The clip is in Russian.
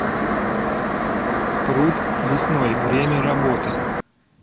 пруд лесной время работы